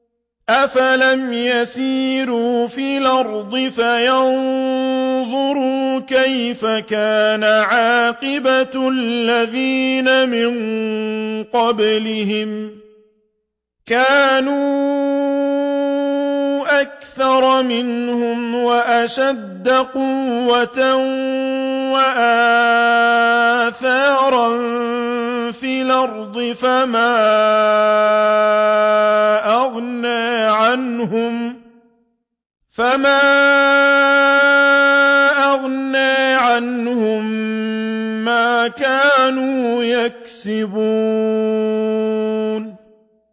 أَفَلَمْ يَسِيرُوا فِي الْأَرْضِ فَيَنظُرُوا كَيْفَ كَانَ عَاقِبَةُ الَّذِينَ مِن قَبْلِهِمْ ۚ كَانُوا أَكْثَرَ مِنْهُمْ وَأَشَدَّ قُوَّةً وَآثَارًا فِي الْأَرْضِ فَمَا أَغْنَىٰ عَنْهُم مَّا كَانُوا يَكْسِبُونَ